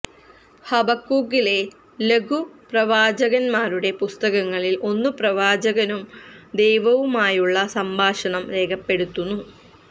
ഹബക്കൂക്കിലെ ലഘു പ്രവാചകന്മാരുടെ പുസ്തകങ്ങളിൽ ഒന്ന് പ്രവാചകനും ദൈവവുമായുള്ള സംഭാഷണം രേഖപ്പെടുത്തുന്നു